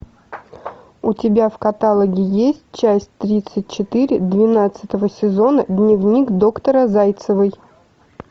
у тебя в каталоге есть часть тридцать четыре двенадцатого сезона дневник доктора зайцевой